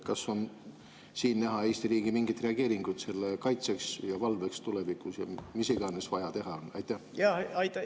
Kas on siin näha Eesti riigi mingit reageeringut selle kaitseks ja valveks tulevikus, mis iganes vaja teha on?